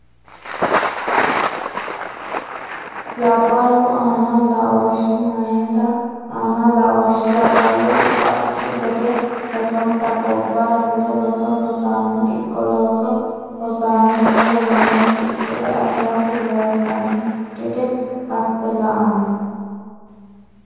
Labballu aana laooshshi Meyate aana laooshshi Labballu baxxu gede rosonsa Gobbara fule roso rosano ikko looso rossanno wolereno hasidhure afi rate loosannokki gede asse la anno.